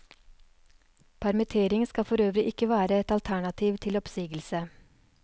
Permittering skal forøvrig ikke være et alternativ til oppsigelse.